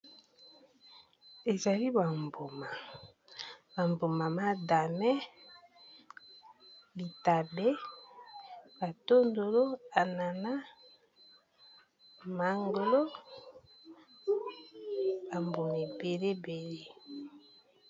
Ezali ba mbuma, ba mbuma madame, litabe, ba tondolo, anana, mangolo ba mbuma ebele ebele.